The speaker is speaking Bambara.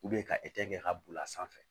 ka kɛ ka boli a sanfɛ